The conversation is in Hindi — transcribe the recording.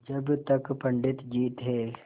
जब तक पंडित जी थे